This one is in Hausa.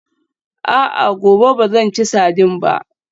A'a, gobe ba zan ci sardine ba